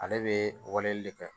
Ale bɛ wale de kɛ